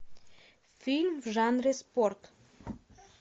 фильм в жанре спорт